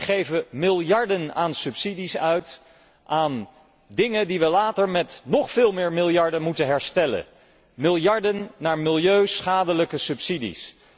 Wij geven miljarden aan subsidies uit aan zaken die we later met nog veel meer miljarden moeten herstellen, miljarden gaan naar milieuschadelijke subsidies.